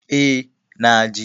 E, na je.